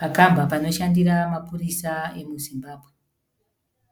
Pakamba panoshandira mapurisa emuZimbabwe.